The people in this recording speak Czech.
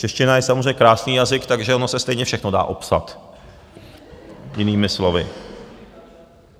Čeština je samozřejmě krásný jazyk, takže ono se stejně všechno dá opsat jinými slovy.